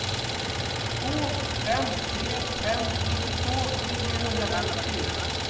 två fem tre fem nittiotvå niohundrafemtiofyra